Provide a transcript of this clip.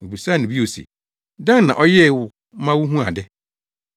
Wobisaa no bio se, “Dɛn na ɔyɛɛ wo ma wuhuu ade?”